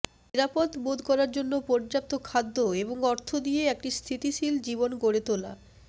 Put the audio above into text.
নিরাপদ বোধ করার জন্য পর্যাপ্ত খাদ্য এবং অর্থ দিয়ে একটি স্থিতিশীল জীবন গড়ে তোলা